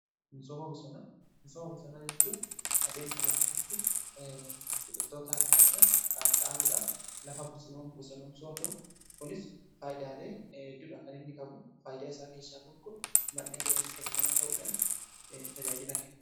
misooma bosonaa jechuun adeemsa lafarratti bibiltoota adda addaa dhaabuudhaan lafa bosonomsuu yoo ta'u kunis faayidaalee heddudha kan inni qabu. faayidaa isaa keessaa tokko man'ee bineensota bosonaa ta'uudhan tajaajila kenna.